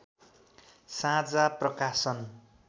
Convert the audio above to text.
साझा प्रकाशन